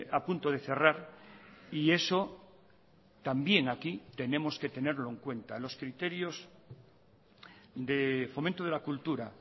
a punto de cerrar y eso también aquí tenemos que tenerlo en cuenta los criterios de fomento de la cultura